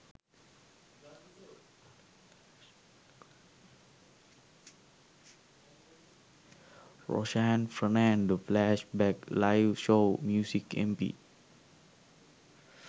roshan fernando flash back live show music mp